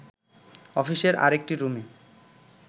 অফিসের আরেকটি রুমে